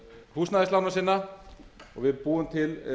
húsnæðislána sinna og við búum til